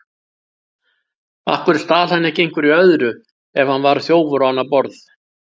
Af hverju stal hann ekki einhverju öðru ef hann var þjófur á annað borð?